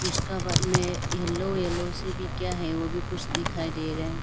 उसका बाद में येलो येलो से भी केया है वो भी कुछ दिखाई दे रहे --